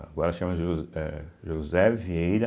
Agora chama Jo eh José Vieira,